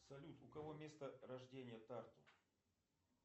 салют у кого место рождения тарту